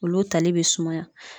Olu tali b'i sumaya